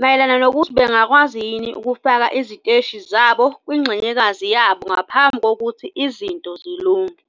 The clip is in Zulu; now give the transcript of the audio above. mayelana nokuthi bangakwazi yini ukufaka iziteshi zabo kungxenyekazi yabo ngaphambi kokuthi izinto zilunge.